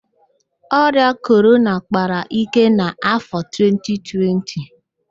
Ọrịa Korona kpara íké n'afọ 2020